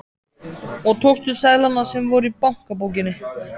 Og tókstu seðlana sem voru í bankabókinni?